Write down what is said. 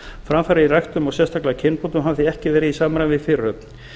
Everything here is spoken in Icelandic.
framfarir í ræktun og sérstaklega kynbótum hafa því ekki verið í samræmi við fyrirhöfn